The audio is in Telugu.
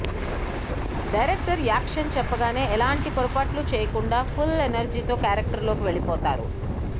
డైరెక్టర్ యాక్షన్ చెప్పగానే ఎలాంటి పొరపాట్లు చేయకుండా ఫుల్ ఎనర్జీతో క్యారెక్టర్లోకి వెళ్ళిపోతారు